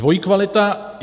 Dvojí kvalita.